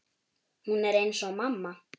Hún er eins og mamma.